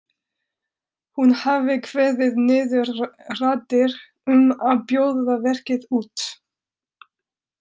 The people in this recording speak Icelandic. Hún hafi kveðið niður raddir um að bjóða verkið út.